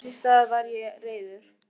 Þess í stað varð ég reiður.